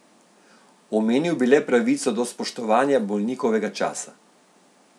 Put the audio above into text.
Omenil bi le pravico do spoštovanja bolnikovega časa.